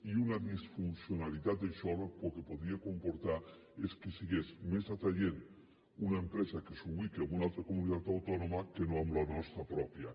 i una disfuncionalitat d’això el que podria comportar és que fos més atraient una empresa que s’ubica en una altra comunitat autònoma que no en la nostra pròpia